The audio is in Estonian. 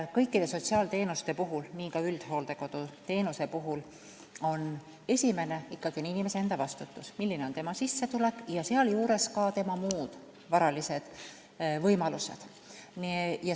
Kõikide sotsiaalteenuste puhul, nii ka üldhooldekodu teenuse puhul, on esimene ikkagi inimese enda vastutus – milline on tema sissetulek ja varalised võimalused.